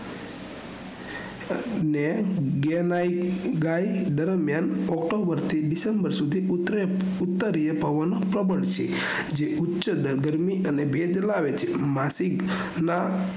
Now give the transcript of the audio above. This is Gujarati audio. અને day night ગાળ દરમિયાન october થી december સુઘી ઉતરીય પવન પ્રબળ છે જે ઉચીય ગરમી અને ભેજ લાવે છે માસિકના